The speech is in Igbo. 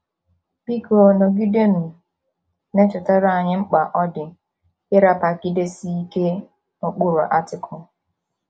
Biko nọgidenụ na - echetara anyị mkpa ọ dị ịrapagidesi ike n’ụkpụrụ Article.. ”